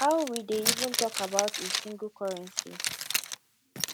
how we dey even talk about a single currency